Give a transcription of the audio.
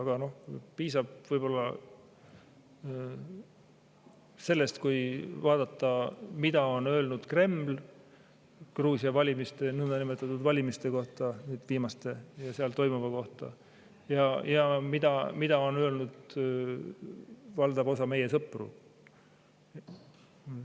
Aga piisab võib-olla sellest, kui vaadata, mida on öelnud Kreml Gruusia valimiste, nõndanimetatud valimiste kohta ja nüüd seal toimuva kohta, ja mida on öelnud valdav osa meie sõpru.